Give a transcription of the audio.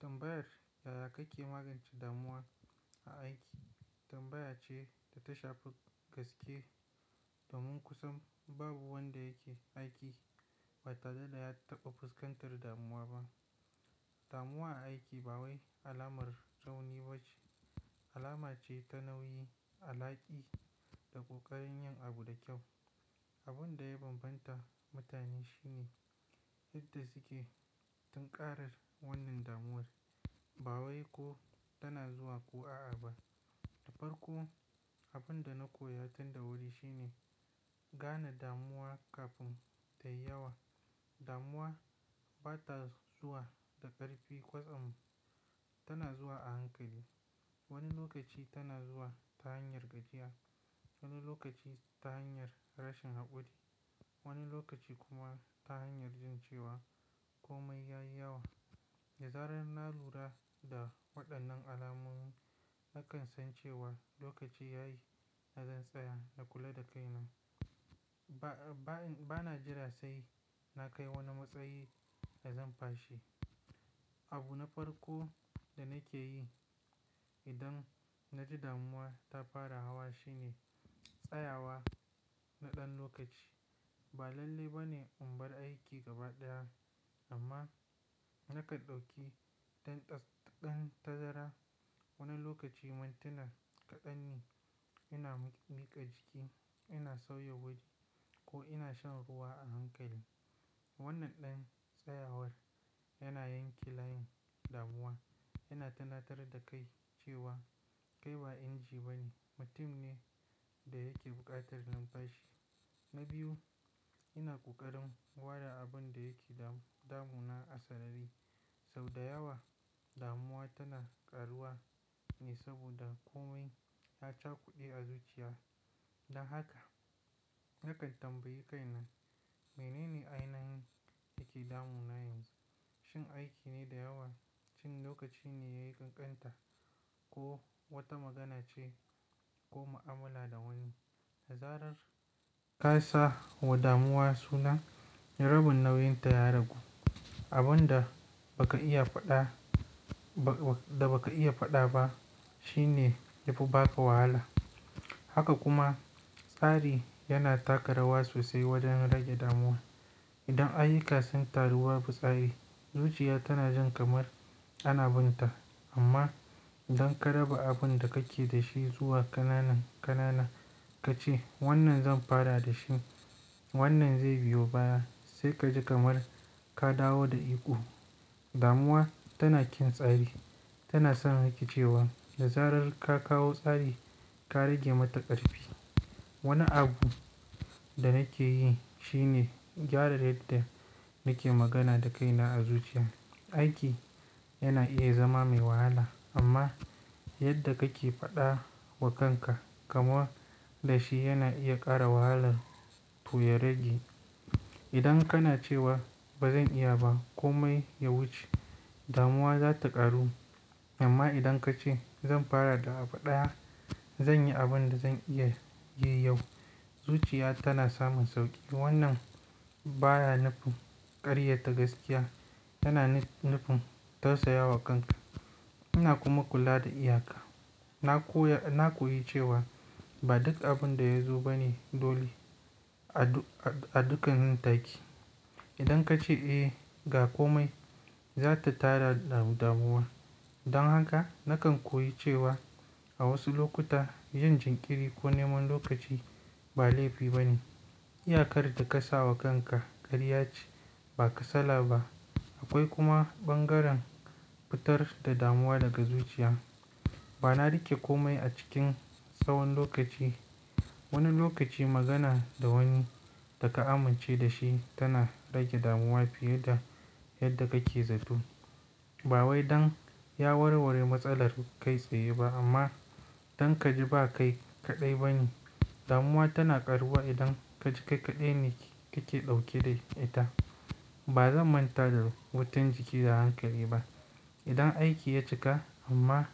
Tambayar yaya kake magance damuwa a aiki tambaya ce da ta shafi gaske domin kusan babu wanda yake aiki ba tare da ya taɓa fuskantar damuwa ba. Damuwa a aiki ba wai alamar rauni ba ce. Alama ce ta nauyi, alaƙi da ƙoƙarin yin abu da kyau. Abin da ya bambanta mutane shine yadda suke tunƙarar wannan damuwar. Ba wai ko tana zuwa ko a'a ba. Na farko, abin da na koya tun da wuri shine gane damuwa kafin ta yi yawa. Damuwa ba ta zuwa da ƙarfi kwatsam, tana zuwa a hankali. Wani lokaci tana zuwa ta hanyar gajiya, wani lokaci ta hanyar rashin haƙuri, wani lokaci kuma ta hanyar jin cewa komai ya yi yawa. Da zarar na lura da waɗannan alamomi, nakan san cewa lokaci ya yi na zan tsaya na kula da kaina. Ba, ba, bana jira sai na kai wani matsayi da zan fashe. Abu na farko da nake yi idan na ji damuwa ta fara hawa shine tsayawa na ɗan lokaci. Ba lalle ba ne in bar aiki gaba ɗaya, amma nakan ɗauki ɗan tsats, ɗan tazara. Wani lokaci mintina kaɗan ne, ina miƙa jiki, ina sauya waje ko ina shan ruwa a hankali. Wannan ɗan tsayawar yana yanke layin damuwa, yana tunatar da kai cewa kai ba inji ba ne, mutum ne da yake buƙatar numfashi. Na biyu, ina ƙoƙarin ware abin da yake damuna a sarari. Sau da yawa damuwa tana ƙaruwa ne saboda komai ya cakude a zuciya. Don haka nakan tambayi kaina, "Menene ainihin yake damuna yanzu? Shin aiki ne da yawa? Shin lokaci ne ya yi ƙanƙanta? Ko wata magana ce? Ko mu'amala da wani?" Da zarar ka sa wa damuwa suna, rabin nauyinta ya ragu. Abin da baka iya faɗa, da baka iya faɗa ba shine ya fi baka wahala. Haka kuma tsari yana taka rawa sosai wajen rage damuwa. Idan ayuka sun taru babu tsari, zuciya tana jin kamar ana binta. Amma idan ka raba abin da kake da shi zuwa ƙananan ƙanana ka ce, "Wannan zan fara da shi, wannan zai biyo baya," sai ka ji kamar ka dawo da iko. Damuwa tana ƙin tsari. Tana son rikecewa da zarar ka kawo tsari, ka rage mata ƙarfi. Wani abu da nake yi shi ne gyara yadda nake magana da kaina a zuciya. Aiki yana iya zama mai wahala amma yadda kake faɗa wa kanka kaman da shi yana iya ƙara wahalar ko ya rage. Idan kana cewa, "ba zan iya ba, komai ya wuce," damuwa za ta ƙaru. Amma idan ka ce, "Zan fara da abu ɗaya, zan yi abin da zan iya yi yau," zuciya tana samun sauƙi. Wannan baya nufin ƙaryata gaskiya, tana nufin tausaya wa kanka. Ina kuma kula da iyaka. Na koya, na koyi cewa ba duk abin da ya zo ba ne dole a dukan taki. Idan ka ce, ga komai," za ta tara damuwa. Don haka nakan koyi cewa a wasu lokuta yin jinkiri ko neman lokaci ba laifi ba ne. Iyakar da ka sa wa kanka ƙarya ce, ba kasala ba. Akwai kuma bangaren fitar da damuwa daga zuciya. Ba na riƙe komai a cikin tsawon lokaci. Wani lokaci magana da wani da ka amince da shi tana rage damuwa fiye da yadda kake zato. Ba wai don ya warware matsalar kai tsaye ba amma don ka ji ba kai kaɗai ba ne. Damuwa tana ƙaruwa idan ka ji kai kaɗai ne kake ɗauke da ita. Ba zan manta da wutan jiki da hankali ba. Idan aiki ya cika amma